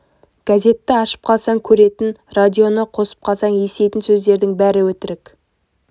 газетті ашып қалсаң көретін радионы қосып қалсаң еститін сөздердің бәрі өтірік